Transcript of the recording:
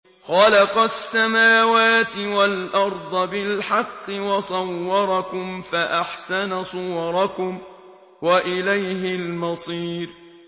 خَلَقَ السَّمَاوَاتِ وَالْأَرْضَ بِالْحَقِّ وَصَوَّرَكُمْ فَأَحْسَنَ صُوَرَكُمْ ۖ وَإِلَيْهِ الْمَصِيرُ